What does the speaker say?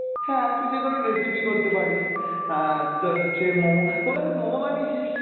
হ্যাঁ তুই যেকোনো recipe করতে পারিস, আহ তোর হচ্ছে মোমো, কোনোদিন মোমো বানিয়েছিস?